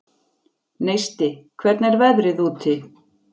Neisti, hvernig er veðrið úti?